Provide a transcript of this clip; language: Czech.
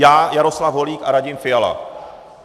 Já, Jaroslav Holík a Radim Fiala.